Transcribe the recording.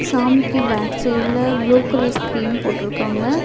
சாமிக்கு பேக் சைடுல blue colour screen போட்ருக்காங்க.